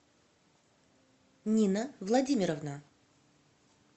нина владимировна